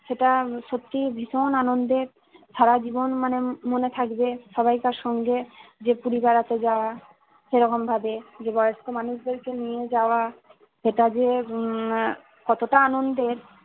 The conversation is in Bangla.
সেটা সত্যি ভীষণ আনন্দের সারা জীবন মানে মনে থাকবে সবাইকার সঙ্গে যে পুরী বেড়াতে যাওয়া সেরকম ভাবে যে বয়স্ক মানুষদেরকে নিয়ে যাওয়া সেটা যে উম কতটা আনন্দের।